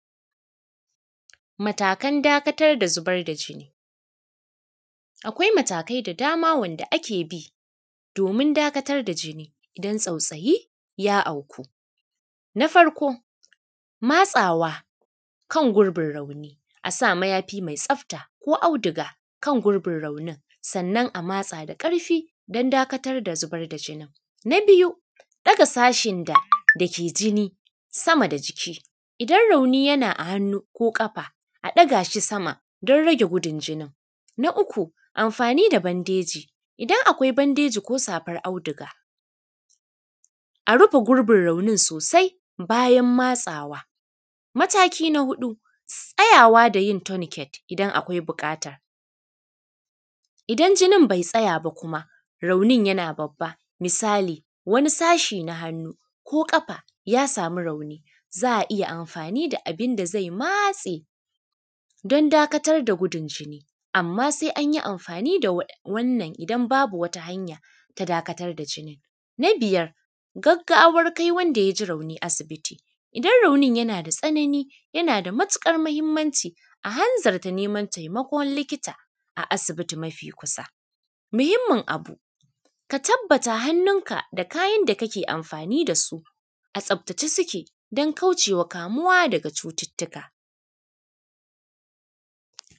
Matakan dakatar da zubar da jini akwai matakai da dama wanda ake bi doomin dakatar da jini idan tsautsayi ya auku. Na farko matsawa kan gurbin rauni a sa mayafi mai tsata ko auduga kan gurbin raunin sannan a matsaa da ƙarfi don dakatar da zubar da jinin. Na biyu ɗaga sashin dake jini sama da jiki idan rauni yana a hannu ko ƙafa a ɗaga shi sama don rage gudun jinin. Na uku amfa:ni da bandeji, idan akwai bandeji ko safar auduga a rufe gurbin raunin soosai bayan matsawa. Mataki na huɗu tsayawa da yin tourniquet idan akwai buƙata, idan jinin bai tsaya ba kuma raunin yana babba misali wani sashi na hannu ko ƙafa ya samu rauni za a iya amfaani da abin da zai matse don dakatar da gudun jini amma sai an yi amfa:ni da wannan idan baabu wata hanya ta dakatar da jini. Na biyar gaggawan kai wanda ya ji rauni asibiti, idan raunin yana da tsanani yana da matuƙar mahimmaci a hanzarta neman taimakon likita a asibiti mafi kusa, muhimmin abu ka tabbata hannunka da kayan da kake amfaani da su a tsabtace suke don kaucewa kamuwa daga cututtuka